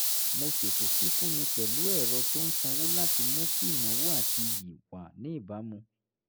mo ṣètò fífúnni pẹ̀lú ẹ̀rọ tó ń sanwó láti mú kí ìnáwó àti iyì wà ní ìbámu